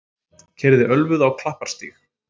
Keyrði ölvuð á Klapparstíg